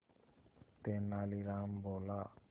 तेनालीराम बोला